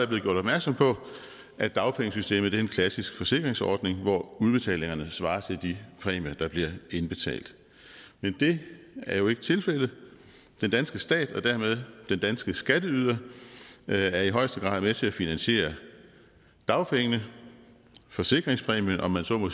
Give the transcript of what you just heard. blevet gjort opmærksom på at dagpengesystemet er en klassisk forsikringsordning hvor udbetalingerne svarer til de præmier der bliver indbetalt men det er jo ikke tilfældet den danske stat og dermed den danske skatteyder er i højeste grad med til at finansiere dagpengene forsikringspræmien om man så må